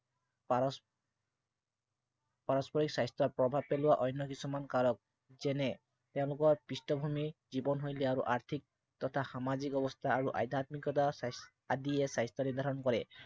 পাৰস পাৰস্পৰিক স্বাস্থ্য়ত প্ৰভাৱ পেলোৱা অন্য় কিছুমান কাৰক, যেনে তেওঁলোকৰ পৃষ্ঠভূমি, জীৱন সংজ্ঞা আৰু আৰ্থিক তথা সামাজিক অৱস্থা আৰু আধ্য়াত্মিকতা আদিয়ে স্বাস্থ্য় নিৰ্দ্ধাৰণ কৰে।